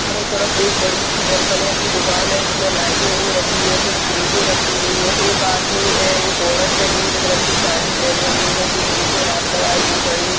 चारों तरफ एक बड़ी सी बर्तनों की दुकान है उसमे लाइटिंग हो रखी है कुछ क्रेटे रखी हुई है एक आदमी है एक औरत है ग्रीन कलर की साड़ी पहनें हुए हैं जो मुँह से हाथ लगाए हुए खड़ी --